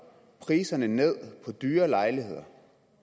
priserne ned på dyre lejligheder